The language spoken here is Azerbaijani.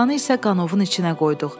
Oğlanı isə qanovun içinə qoyduq.